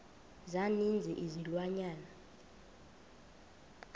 za ninzi izilwanyana